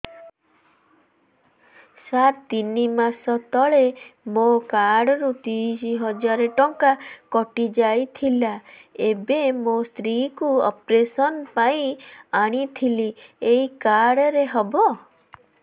ସାର ତିନି ମାସ ତଳେ ମୋ କାର୍ଡ ରୁ ତିରିଶ ହଜାର ଟଙ୍କା କଟିଯାଇଥିଲା ଏବେ ମୋ ସ୍ତ୍ରୀ କୁ ଅପେରସନ ପାଇଁ ଆଣିଥିଲି ଏଇ କାର୍ଡ ରେ ହବ